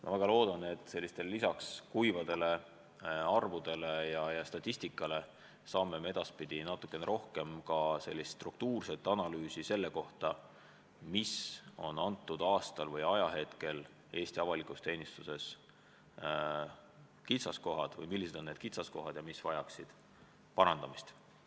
Ma väga loodan, et lisaks kuivadele arvudele ja statistikale saame edaspidi natukene rohkem ka struktuurset analüüsi selle kohta, mis on konkreetsel aastal Eesti avalikus teenistuses olnud kitsaskohad, mis vajaksid parandamist.